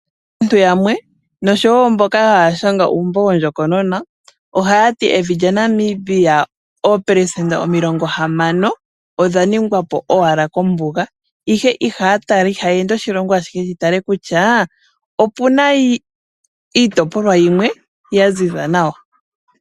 Aantu yamwe, noshowo mboka haya shanga uumbo wondjokonona , ohaya ti evi lyaNamibia, oopelesenda omilongo hamano odha ningwa po owala kombuga. Ihe ihaa tala, ihaya ende oshilongo ashihe ya tale kutya ope na iitopolwa yimwe ya ziza nawa.